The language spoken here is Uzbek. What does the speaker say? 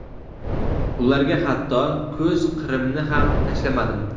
ularga hatto ko‘z qirimni ham tashlamadim.